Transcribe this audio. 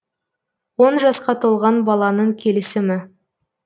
он жасқа толған баланың келісімі